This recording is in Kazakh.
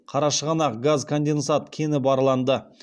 қарашығанақ газконденсат кені барланды